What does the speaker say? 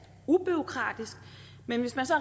ubureaukratisk men hvis man så